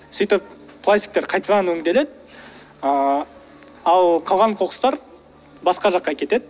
сөйтіп пластиктар қайтадан өңделеді ааа ал қалған қоқыстар басқа жаққа кетеді